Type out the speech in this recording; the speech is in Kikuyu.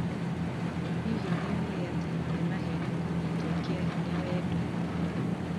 hihi nĩũĩ atĩ nĩmaheni kũnyitwo kia hinya wendo-inĩ?